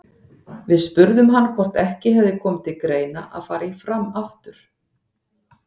Við spurðum hann hvort ekki hefði komið til greina að fara í Fram aftur?